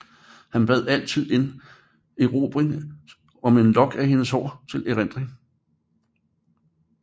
Han bad altid en erobring om en lok af hendes hår til erindring